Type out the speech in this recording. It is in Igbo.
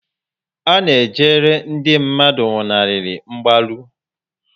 A na-ejere ndị mmadụ nwụnarịrị mgbalu